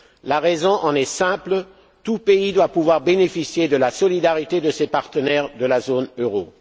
La raison en est simple tout pays doit pouvoir bénéficier de la solidarité de ses partenaires de la zone euro.